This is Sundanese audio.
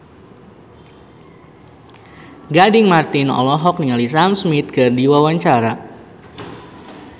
Gading Marten olohok ningali Sam Smith keur diwawancara